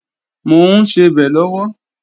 Mò ń sebẹ̀ lọ́wọ́